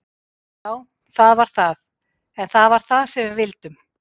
Já það var það, en það var það sem við vildum.